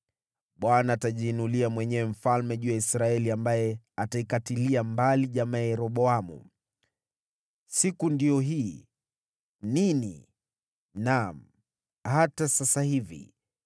“ Bwana atajiinulia mwenyewe mfalme juu ya Israeli ambaye ataikatilia mbali jamaa ya Yeroboamu. Siku ndiyo hii! Nini? Naam, hata sasa hivi.